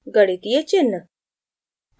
गणितीय चिन्ह